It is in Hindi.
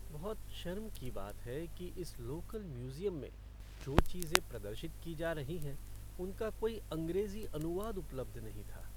मैं बहुत शर्म की बात है कि इस लोकल म्यूज़ियम में जो चीजें प्रदर्शित की जा रही हैं उनका कोई अंग्रेज़ी अनुवाद उपलब्ध नहीं था।